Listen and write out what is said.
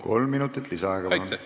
Kolm minutit lisaaega, palun!